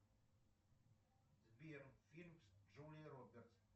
сбер фильм с джулией робертс